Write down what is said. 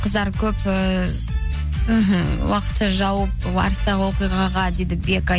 қыздар көп ііі мхм уақытша жауып арыстағы оқиғаға дейді бека